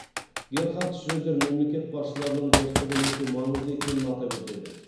герхард шредер мемлекет басшыларының достығы өте маңызды екенін атап өтеді